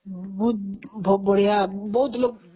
ବହୁତ ବଢିଆ, ବହୁତ ଲୋକ